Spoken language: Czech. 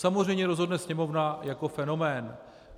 Samozřejmě rozhodne Sněmovna jako fenomén.